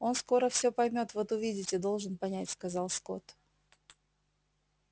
он скоро всё поймёт вот увидите должен понять сказал скотт